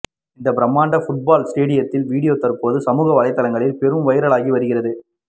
இந்த பிரமாண்ட ஃபுட்பால் ஸ்டேடியத்தின் வீடியோ தற்போது சமூக வலைதளங்களில் பெரும் வைரலாகி வருகிறது